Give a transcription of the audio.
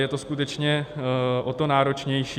Je to skutečně o to náročnější.